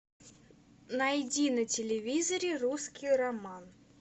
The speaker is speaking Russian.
найди на телевизоре русский роман